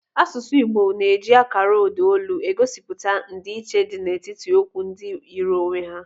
Asụsụ Igbo na-eji akara ụda olu egosipụta ndị iche dị etiti okwu ndị yiri onwe ha.